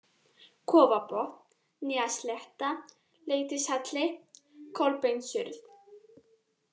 Kofabotn, Nýjaslétta, Leitishalli, Kolbeinsurð